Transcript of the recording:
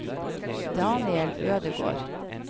Daniel Ødegård